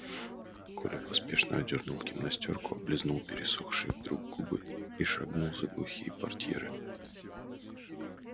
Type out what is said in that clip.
коля поспешно одёрнул гимнастёрку облизнул пересохшие вдруг губы и шагнул за глухие портьеры